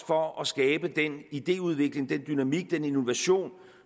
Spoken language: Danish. for at skabe den idéudvikling den dynamik og den innovation